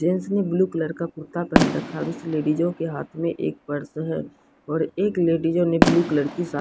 gents ने blue colour का कुर्ता पहन रखा है उस लेडिस के हाथो में एक पर्स है और एक लेडिस ने ब्लू कलर की सा --